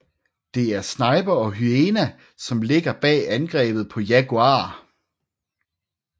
Det er Sniper og Hyena som ligger bag angrebet på Jaguar